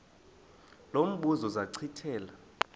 lo mbuzo zachithela